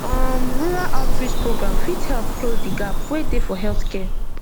um rural outreach program fit help close the gap wey dey for healthcare